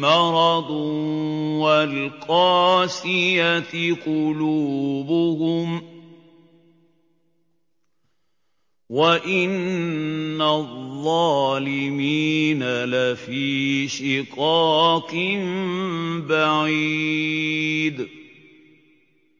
مَّرَضٌ وَالْقَاسِيَةِ قُلُوبُهُمْ ۗ وَإِنَّ الظَّالِمِينَ لَفِي شِقَاقٍ بَعِيدٍ